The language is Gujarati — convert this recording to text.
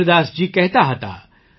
કબીરદાસજી કહેતા હતા